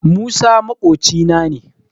Musa maƙocina ne